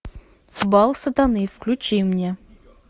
бал сатаны включи мне